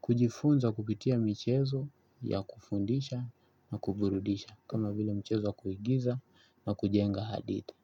kujifunza kupitia mchezo ya kufundisha na kuburudisha kama vile mchezo wa kuigiza na kujenga hadithi.